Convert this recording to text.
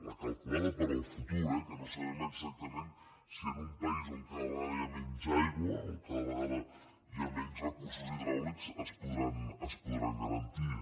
la calculada per al futur eh que no sabem exactament si en un país on cada vegada hi ha menys aigua o cada vegada hi ha menys recursos hidràulics es podran garantir